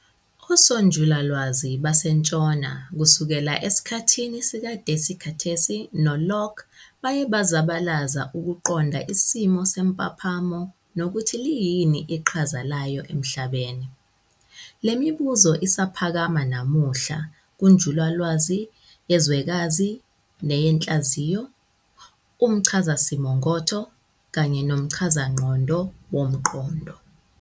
Osonjulalwazi basentshona kusukela esikhathini sikaDesikhatesi noLokhe baye bazabalaza ukuqonda isimo sempaphamo nokuthi liyini iqhaza layo emhlabeni. Lemibuzo isaphakama nanamuhla kunjulalwazi yezwekazi neyenhlaziyo, umchazasimongotho, kanye nomchazangqondo womqondo.